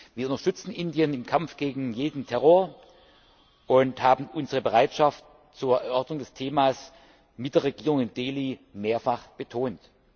Wir unterstützen Indien im Kampf gegen jeden Terror und haben unsere Bereitschaft zur Erörterung dieses Themas mit der Regierung in Delhi mehrfach betont.